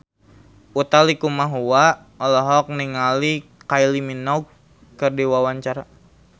Utha Likumahua olohok ningali Kylie Minogue keur diwawancara